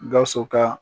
Gawusu ka